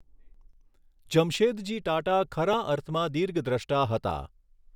જમશેદજી ટાટા ખરા અર્થમાં દીર્ઘદૃષ્ટા હતા.